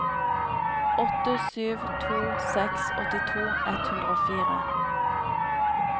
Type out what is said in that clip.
åtte sju to seks åttito ett hundre og fire